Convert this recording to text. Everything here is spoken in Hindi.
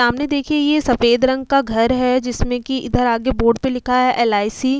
सामने देखिए ये सफ़ेद रंग का घर हैं। जिसमे की इधर आगे बोर्ड पे लिखा है एल.आई.सी ।